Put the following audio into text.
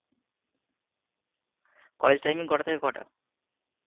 college timing কটা থেকে কটা?